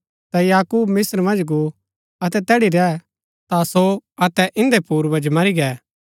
ता याकूब मिस्त्र मन्ज गो अतै तैड़ी रैह ता सो अतै इन्दै पूर्वज मरी गै